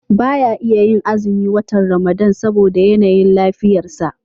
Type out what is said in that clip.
Ba iya yin azumin watan Ramadan ba saboda yanayin lafiyarsa.